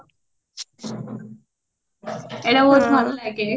ଏତ ବହୁତ ଭଲ ଲାଗେ